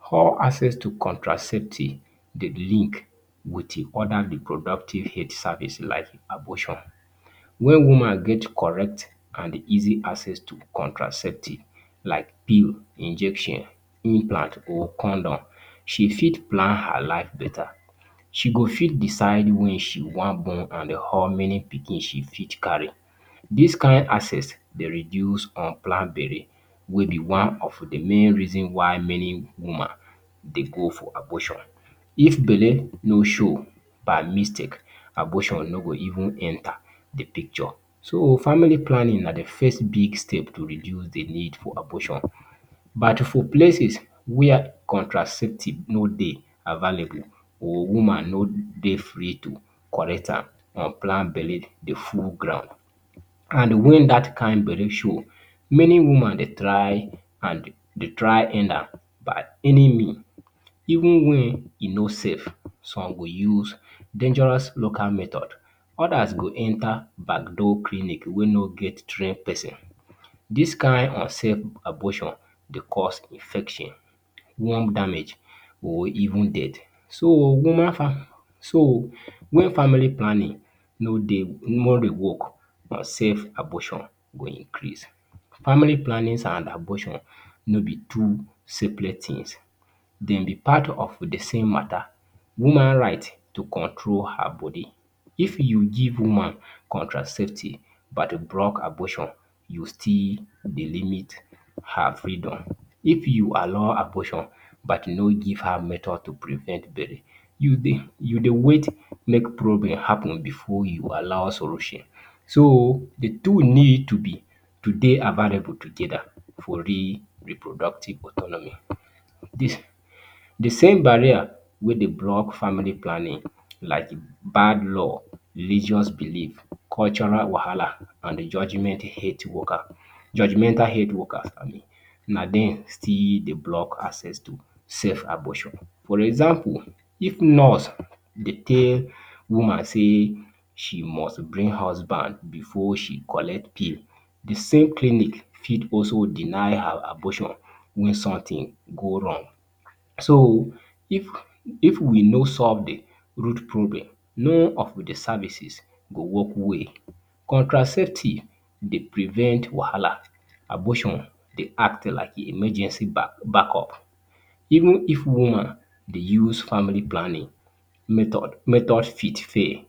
How access to contraceptives dey link with other reproductive health service like abortion When woman get correct and easy contraceptives, like pills, injection, implant or condom, she fit plan her life better. She go fit decide when she wan born and how many pikin she fit carry. Dis kin access dey reduce unplanned belle wey be one of the main reasons wey woman dey go for abortion. If belle no show by mistake, abortion no go even enter the picture. So, family planning na the first big step to reduce the need for abortion. But, for places where contraceptives no dey available or woman no dey free to collect am, unplanned belle dey full ground. And when dat kin belle show, many woman dey try end am by any means, even when e no safe. Some go use dangerous local methods. Others go enter backdoor clinic wey no get trained pesin. Dis kin unsafe abortion dey cause infection, womb damage or even death. So, when family planning no dey woman go, unsafe abortion go increase. Family planning and abortion no be two separate things. Dem dey part of the same matter — woman right to control her body. If you give woman contraceptives but block abortion, you still delimit her freedom. If you allow abortion but no give her method to prevent belle, you dey wait make problem happen before you allow solution. So, the two need to dey available together for reproductive autonomy. The same barrier wey dey block family planning — like bad law, religious beliefs, cultural wahala and judgemental health workers — na dem still dey block access to safe abortion. For example, if nurse dey tell woman say she must bring husband before she collect pill, the same clinic fit also deny her abortion if something go wrong. So, if we no solve the problem, none of the services go work well. Contraceptives dey prevent wahala. Abortion dey act like emergency backup. Even if woman dey use family planning method, method fit fail.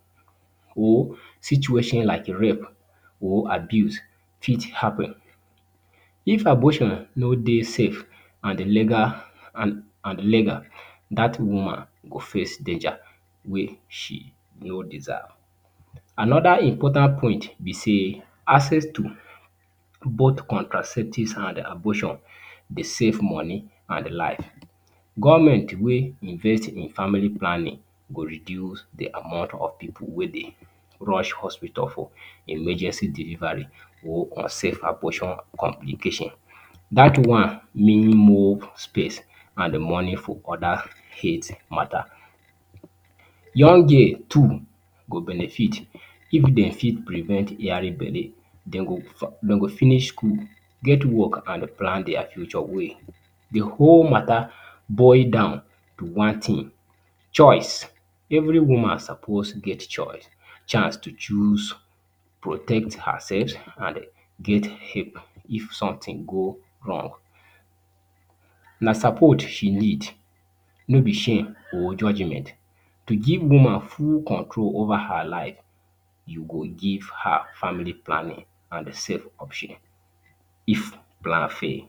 Or situation like rape or abuse fit happen. If abortion no dey safe and legal, dat woman go face danger wey she no deserve. Another important point be say, access to both contraceptives and abortion dey save money and life. Government wey invest in family planning go reduce the amount of pipu wey dey rush hospital for emergency delivery or unsafe abortion complication. Dat one mean more space and money for other health matter. Young girl too go benefit if dem fit prevent yearly belle. Dem go finish school, get work and plan their future well. The whole matter boil down to one thing: choice. Every woman suppose get choice — chance to choose protect herself and get help if something go wrong. Na support she need, no be shame or judgement. To give woman full control over her life, you go give her family planning and safe abortion if plan fail.